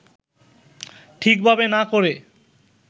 ঠিকভাবে না করে